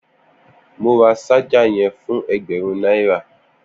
Mó rà ṣàjá yèn fún ẹgbẹrùn naira